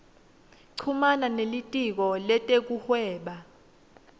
chumana nelitiko letekuhweba